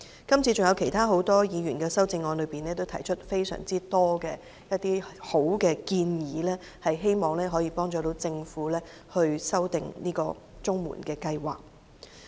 今次還有很多其他議員的修正案均提出很多好建議，希望可以幫助政府修訂綜援計劃。